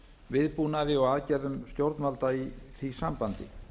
viðbúnaði og aðgerðum stjórnvalda í því sambandi